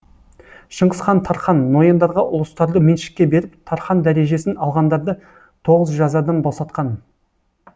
шыңғыс хан тархан нояндарға ұлыстарды меншікке беріп тархан дәрежесін алғандарды тоғыз жазадан босатқан